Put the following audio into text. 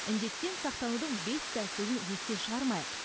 індеттен сақтанудың бес тәсілін естен шығармайық